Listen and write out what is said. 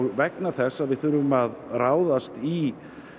vegna þess að við þurfum að ráðast í